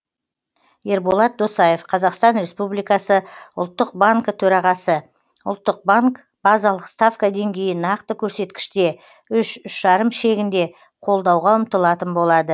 ерболат досаев қазақстан республикасы ұлттық банкі төрағасы ұлттық банк базалық ставка деңгейін нақты көрсеткіште үш үш жарым шегінде қолдауға ұмтылатын болады